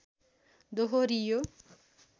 दोहोरियो